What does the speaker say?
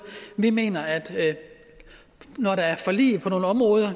vi mener at når der er forlig på nogle områder